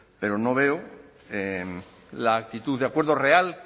pero no veo la actitud de acuerdo real